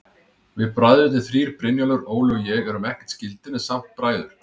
Við bræðurnir þrír, Brynjólfur, Óli og ég, erum ekkert skyldir, en samt bræður.